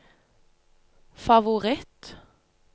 favoritt